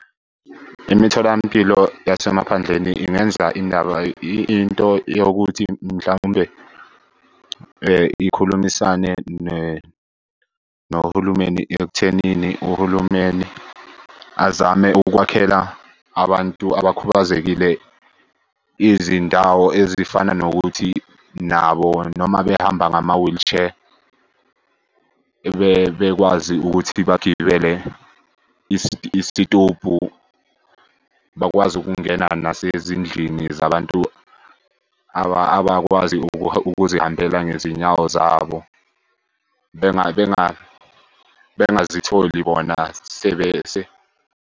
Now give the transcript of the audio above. Imitholampilo yasemaphandleni ingenza indaba into yokuthi mhlawumbe ikhulumisane nohulumeni ekuthenini uhulumeni azame ukukwakhela abantu abakhubazekile izindawo ezifana nokuthi nabo noma behamba ngama-wheelchair bekwazi ukuthi bagibele isitobhu. Bakwazi ukungena nasezindlini zabantu abakwazi ukuzihambela ngezinyawo zabo. Bengazitholi bona .